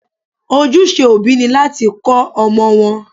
Ojúse òbí ni láti kọ́ ọmọ wọn.